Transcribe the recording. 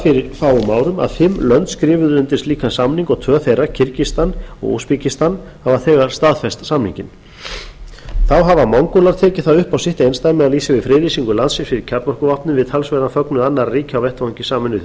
fyrir fáum árum að fimm lönd skrifað undir slíkan samning og tvö þeirra kirgistan og urbekirstan hafa þegar staðfest samninginn þá hafa mongólar tekið það upp á sitt einsdæmi að lýsa lýsa yfir friðlýsingu landsins fyrir kjarnorkuvopnum við talsverðan fögnuð annarra ríkja á vettvangi sameinuðu